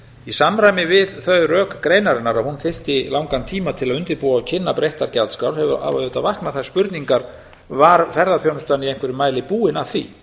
í samræmi við þau rök greinarinnar að hún þyrfti langan tíma til að undirbúa og kynna breyttar gjaldskrár hafa auðvitað vaknað þær spurningar var ferðaþjónustan í einhverjum mæli búin að því